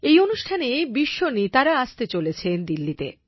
এই অনুষ্ঠানে বিশ্ব নেতারা আসতে চলেছে দিল্লিতে